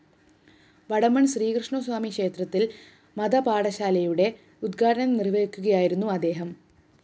വടമണ്‍ ശ്രീകൃഷ്ണസ്വാമി ക്ഷേത്രത്തില്‍ മതപാഠശാലയുടെ ഉദ്ഘാടനം നിര്‍വഹിക്കുകയായിരുന്നു അദ്ദേഹം